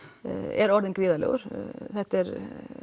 er orðinn gríðarlegur þetta er